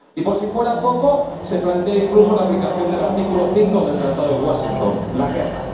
Y por si fuera poco, se plantea incluso la aplicación del artículo 5 del Tratado de Washington la guerra.